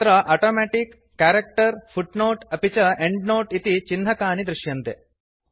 अत्र automatic character फूटनोटे अपि च एण्ड्नोते इति चिह्नकानि दृश्यन्ते